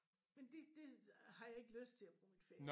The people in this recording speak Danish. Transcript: Men det det har jeg ikke lyst til at bruge min ferie